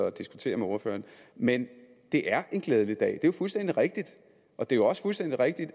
at diskutere med ordføreren men det er en glædelig dag det er jo fuldstændig rigtigt og det er også fuldstændig rigtigt